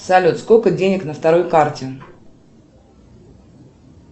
салют сколько денег на второй карте